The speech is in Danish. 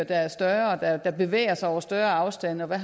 er større og som bevæger sig over større afstande og hvad